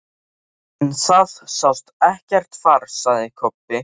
En það sást ekkert far, sagði Kobbi.